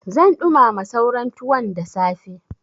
Zan ɗumama sauran tuwon da safe.